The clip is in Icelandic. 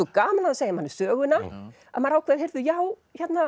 gaman að segja manni söguna og maður ákveður já